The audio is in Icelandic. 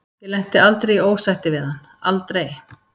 Ég lenti aldrei í ósætti við hann, aldrei.